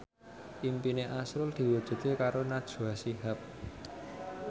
impine azrul diwujudke karo Najwa Shihab